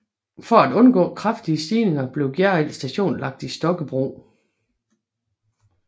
For at undgå for kraftige stigninger blev Gjerrild Station lagt i Stokkebro